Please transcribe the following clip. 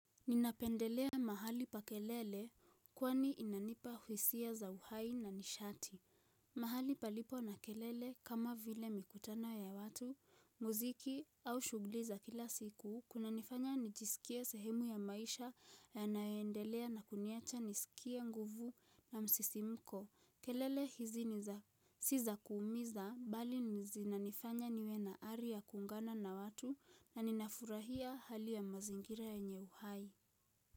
Ninapendelea mahali pa kelele, kwani inanipa hisia za uhai na nisharti. Mahali palipo na kelele kama vile mikutano ya watu, muziki au shughli za kila siku. Kunanifanya nijisikie sehemu ya maisha yayoendelea na kuniacha nisikie nguvu na msisimko. Kelele hizi si za kuumiza bali zinanifanya niwe na ari ya kuungana na watu na ninafurahia hali ya mazingira enye uhai.